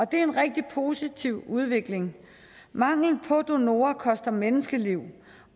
det er en rigtig positiv udvikling mangel på donorer koster menneskeliv